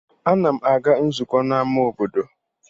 Ana m aga nzukọ n'ama obodo.